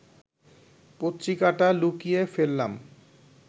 পত্রিকাটা লুকিয়ে ফেললাম